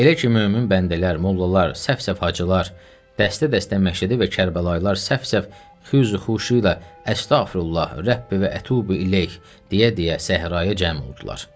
Elə ki, mömin bəndələr, mollalar, səf-səf hacılar, dəstə-dəstə məşədi və kərbəlayılar səf-səf xüzu-xüşu ilə əstəğfirullah rəbbi və ətubu iləyh deyə-deyə səhraya cəm oldular.